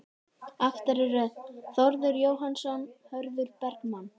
Aftari röð: Þórður Jóhannsson, Hörður Bergmann